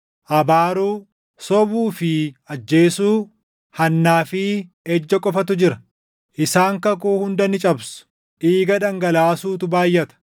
Abaaruu, sobuu fi ajjeesuu, hannaa fi ejja qofatu jira; isaan kakuu hunda ni cabsu; dhiiga dhangalaasuutu baayʼata.